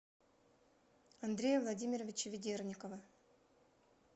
андрея владимировича ведерникова